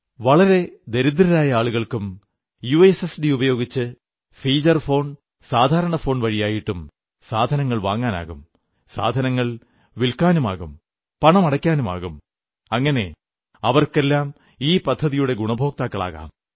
വളരെ ദരിദ്രരായ ആളുകൾക്കും യുഎസ്എസ്ഡി ഉപയോഗിച്ച് ഫീചർ ഫോൺ സാധാരണ ഫോൺ വഴിയായിട്ടും സാധനങ്ങൾ വാങ്ങാനാകും സാധനങ്ങൾ വില്ക്കാനുമാകും പണം അടയ്ക്കാനുമാകും അങ്ങനെ അവർക്കെല്ലാം ഈ പദ്ധതിയുടെ ഗുണഭോക്താക്കളാകാം